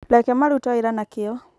reke marute wĩra na kĩo